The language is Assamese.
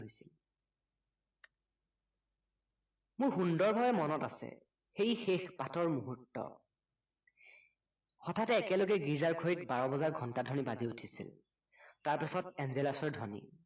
মোৰ সুন্দৰভাৱে মনত আছে সেই শেষ পাঠৰ মূহূৰ্ত হঠাতে একেলগে গীৰ্জা ঘড়ীত বাৰ বজাৰ ঘন্টা ধ্বনি বাজি উঠিছিল তাৰপাছত এঞ্জেলাছৰ ধ্বনি